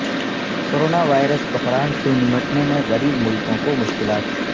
corona virus بحران سے نمٹنے میں غریب ملکوں کو مشکلات